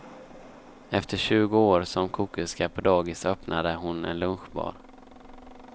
Efter tjugo år som kokerska på dagis öppnade hon en lunchbar.